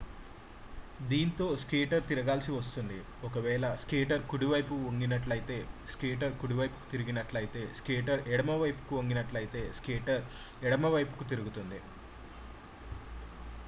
దీంతో స్కేటర్ తిరగాల్సి వస్తుంది ఒకవేళ స్కేటర్ కుడివైపుకు వంగినట్లయితే స్కేటర్ కుడివైపుకు తిరిగినట్లయితే స్కేటర్ ఎడమవైపుకు వంగినట్లయితే స్కేటర్ ఎడమవైపుకు తిరుగుతుంది